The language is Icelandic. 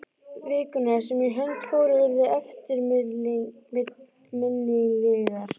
Vikurnar sem í hönd fóru urðu eftirminnilegar.